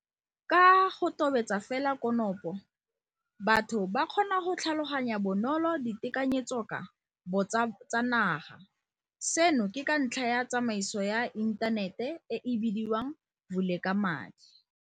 Ka go tobetsa fela konopo, batho ba kgona go tlhaloganya bonolo ditekanyetsoka bo tsa naga, seno ke ka ntlha ya tsamaiso ya inthanete e e bidiwang Vulekamali.